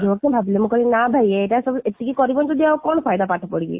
ଯିବ ତ ଭାବିଲେ ମୁଁ କହିଲି ନା ଭାଇ ଏଇଟା ସବୁ ଏତିକି କରିବନି ଯଦି ଆଉ କ'ଣ ପାଠ ପଢିକି?